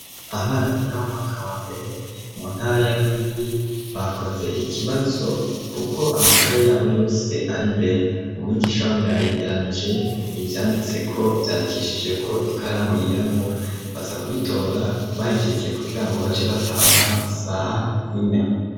Abana biga mu mwaka wa mbere mu ntara ya rwigi bakoze ikibazo, kuko amakaye yabo yose ari imbere mu migisha wabo yayegeranije ivyanditseko vyandikishije ko ikaramu yirabura baza kubitora bahejejje kugira ngo bace bataha saha ine.